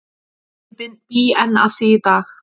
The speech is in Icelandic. Ég bý enn að því í dag.